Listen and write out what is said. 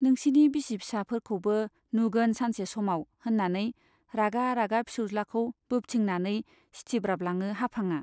नोंसिनि बिसि फिसाफोरखौबो नुगोन सानसे समाव, होन्नानै रागा रागा फिसौज्लाखौ बोबथिंनानै सिथिब्राबलाङो हाफांआ।